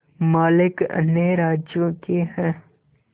मालिक अन्य राज्यों के हैं